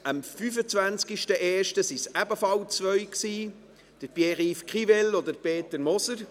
Am 25. Januar waren es ebenfalls zwei: Pierre-Yves Grivel und Peter Moser.